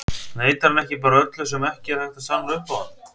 Neitar hann ekki bara öllu sem ekki er hægt að sanna upp á hann?